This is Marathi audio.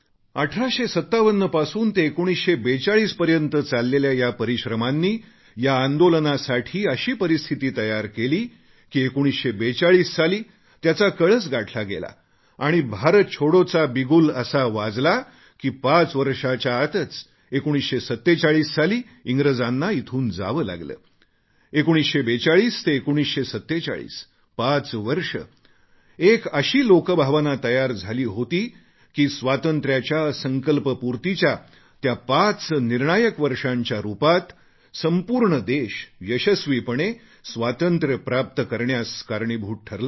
1857 पासून 1942 पर्यंत चाललेल्या या परिश्रमांनी या आंदोलनासाठी अशी परिस्थिती तयार केली की 1942 साली त्याचा कळस गाठला गेला आणि भारत छोडो चा बिगुल असा वाजला की पाच वर्षांच्या आतच 1947 साली इंग्रजांना इथून जावे लागले 1942 ते 1947 पाच वर्षं एक अशी लोकभावना तयार झाली होती की स्वातंत्र्याच्या संकल्पपूर्तीच्या त्या पाच निर्णायक वर्षांच्या रूपात संपूर्ण देश यशस्वीपणे स्वातंत्र्य प्राप्त करण्यास कारणीभूत ठरला